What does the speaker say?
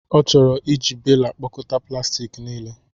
Ọ chọrọ iji bela kpokọta plastik niile.